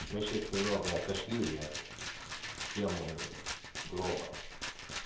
мы сейчас немного отошли от темы гроба